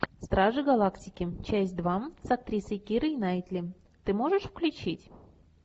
стражи галактики часть два с актрисой кирой найтли ты можешь включить